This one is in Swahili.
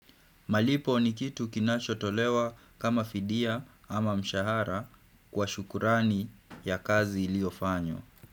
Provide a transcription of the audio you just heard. Malipo ni kitu kinacho tolewa kama fidia ama mshahara kwa shukurani ya kazi iliofanywa.